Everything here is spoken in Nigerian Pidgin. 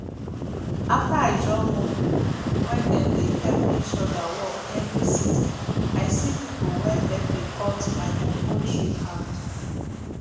after i join one group wey them dey help each other work every season i see people wey help me cut my cocoa tree hand